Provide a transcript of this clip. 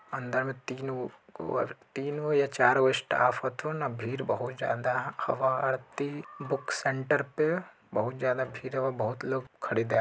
अंदर में तीन गो और तीन गो या चार गो स्टाफ हथुन भीड़ बहुत ज्यादा हवा अथी बुक सेण्टर पे बहुत ज्यादा भीड़ हवा बहुत लोग खरीदें --